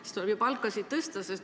Siis tuleb ju palkasid tõsta.